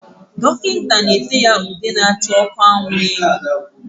Dọkịta na-ete ya ude na-acha ọkụ anwụ na ihu.